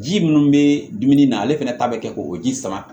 Ji minnu bɛ dumuni na ale fɛnɛ ta bɛ kɛ k'o ji sama